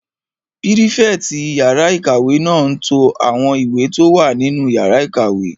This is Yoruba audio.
Pírífẹ̀tì yàrá-ìkàwé náà n to àwọn ìwé tó wà nínú yàrá ìkàwé